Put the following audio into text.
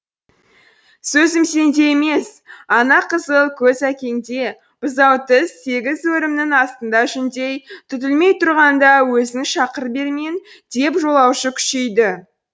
сөзім сенде емес ана қызыл көз әкеңде бұзау тіс сегіз өрімнің астында жүндей түтілмей тұрғанда өзін шақыр бермен деп жолаушы күшейді